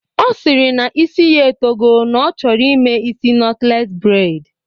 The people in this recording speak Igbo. Ọ sịrị na isi ya etogo na ọ chọrọ ime isi nọtlees breid